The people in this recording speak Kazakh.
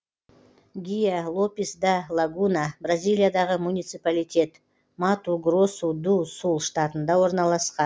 гиа лопис да лагуна бразилиядағы муниципалитет мату гросу ду сул штатында орналасқан